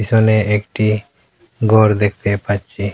পিছনে একটি ঘর দেখতে পাচ্ছি।